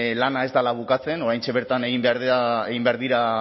lana ez dela bukatzen oraintxe bertan egin behar dira